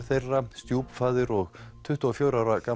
þeirra stjúpfaðir og tuttugu og fjögurra ára